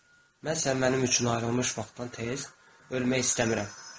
Mən sən mənim üçün ayrılmış vaxtdan tez ölmək istəmirəm.